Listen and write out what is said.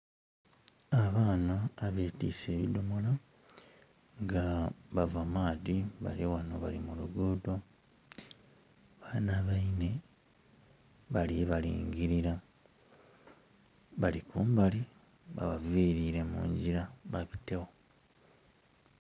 Abaana abetiise ebidhomolo nga bava maadhi bali ghano bali mu lugudho. Baana beine bali balingilira bali kumbali. Babavilire mu ngira babitegho.